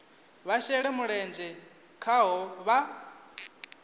vha shele mulenzhe khaho vha